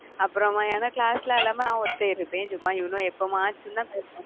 அப்பறமா எங்க class ல எல்லாமே